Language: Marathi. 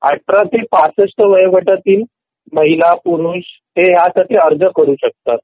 हो हो १८ ते ६५ वर्ष वयोगटातील महिला पुरुष ह्यासाठी अर्ज करू शकतात